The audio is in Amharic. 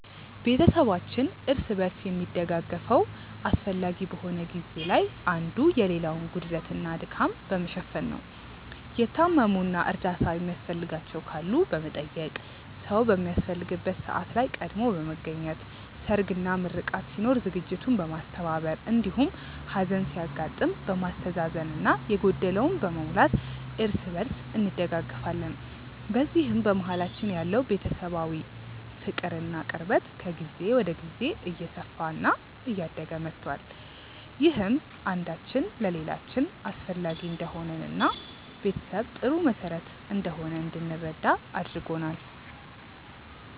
ቤተሰባችን እርስ በርስ የሚደጋገፈው አስፈላጊ በሆነ ጊዜ ላይ አንዱ የሌላውን ጉድለት እና ድካም በመሸፈን ነው። የታመሙ እና እርዳታ የሚያስፈልጋቸው ካሉ በመጠየቅ፣ ሰዉ በሚያስፈልግበት ሰዓት ላይ ቀድሞ በመገኘት ሰርግ፣ ምርቃት ሲኖር ዝግጅቱን በማስተባበር እንዲሁም ሀዘን ሲያጋጥም በማስተዛዘን እና የጎደለውን በመሙላት እርስ በእርስ እንደጋገፋለን። በዚህም በመሀላችን ያለው ቤተሰባዊ ፍቅር እና ቅርበት ከጊዜ ወደ ጊዜ እየሰፋ እና እያደገ መቷል። ይህም አንዳችን ለሌላችን አስፈላጊ እንደሆንን እና ቤተሰብ ጥሩ መሰረት እንደሆነ እንድንረዳ አድርጎናል።